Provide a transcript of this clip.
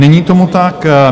Není tomu tak.